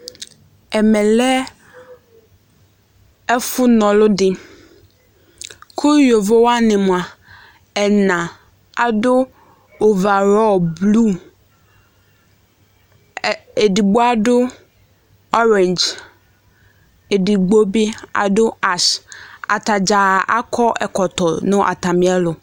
Ɛmɛ lɛ ɛfʋna ɔlʋ dɩ, kʋ yovo wanɩ mʋa, ɛna adʋ ʋva ayʋ blu, edigbo adʋ ɔredz, edigbo bɩ adʋ as, atadza akɔ ɛkɔtɔ nʋ atamɩ ɛlʋ